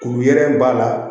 Kuru yɛrɛ b'a la